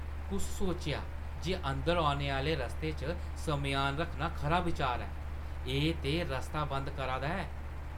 कुस सोचेआ जे अंदर औने आह्‌ले रस्ते च सम्यान रक्खना खरा बचार ऐ? एह् ते रस्ता बंद करै दा ऐ।